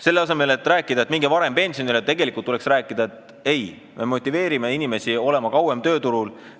Selle asemel et rääkida, et minge varem pensionile, tuleks rääkida, et me motiveerime inimesi kauem tööturul olema.